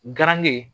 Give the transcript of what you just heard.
Garange